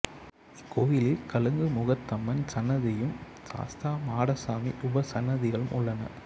இக்கோயிலில் கலுங்கு முகத்தம்மன் சன்னதியும் சாஸ்தா மாடசாமி உபசன்னதிகளும் உள்ளன